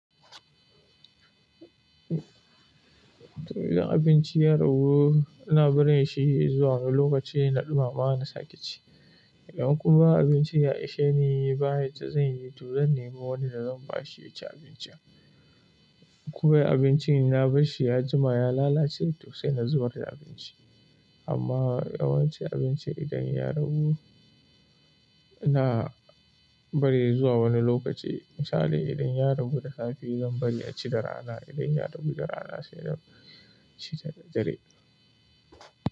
Idan abinci ya dahu, ina barin shi zuwa wani lokaci na ɗumama na sake ci. Idan kuma abincin ya ishe ni ba yacca zan yi, to zan nemi wani da zan ba shi ya ci abincin. Koya abincin na barahi ya juma ya lalace, toh sai na zubar da abincin amma yawanci abinci idan ya ragu, ina bari zuwa wani lokaci. Misali idan ya ragu da safe zan bari a ci da rana, idan ya ragu da rana sai a ci da dare.